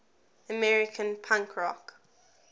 american punk rock